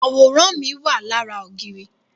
Àwòrán mi wà lára ògiri